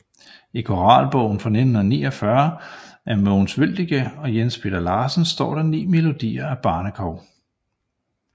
I Koralbogen fra 1949 af Mogens Wøldike og Jens Peter Larsen står der 9 melodier af Barnekow